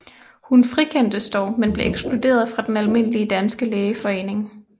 Hun frikendtes dog men blev ekskluderet fra Den Almindelige Danske Lægeforening